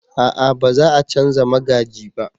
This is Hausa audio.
a'a ba za a canja magaji ba